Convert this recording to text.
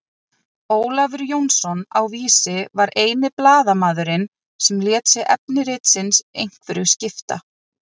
Ólafur Jónsson á Vísi var eini blaðamaðurinn sem lét sig efni ritsins einhverju skipta.